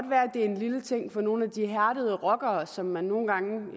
være en lille ting for nogle af de hærdede rockere som man nogle gange